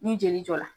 Ni jeli jɔra